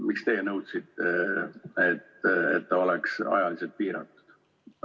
Miks te nõudsite, et see oleks ajaliselt piiratud?